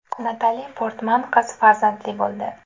Natali Portman qiz farzandli bo‘ldi.